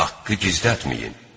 Haqqı gizlətməyin!